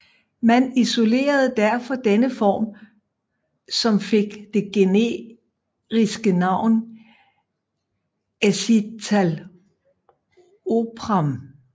Man isolerede derfor denne form som fik det generiske navn escitalopram